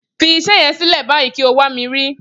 Fi iṣẹ́ yẹn sílẹ̀ báyìí kí o wá rí mi.